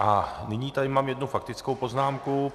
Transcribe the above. A nyní tady mám jednu faktickou poznámku.